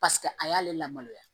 Paseke a y'ale lamaloya